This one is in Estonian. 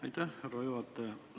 Aitäh, härra juhataja!